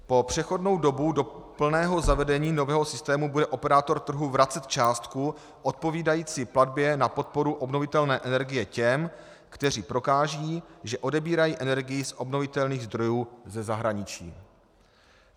Po přechodnou dobu do plného zavedení nového systému bude operátor trhu vracet částku odpovídající platbě na podporu obnovitelné energie těm, kteří prokážou, že odebírají energii z obnovitelných zdrojů ze zahraničí.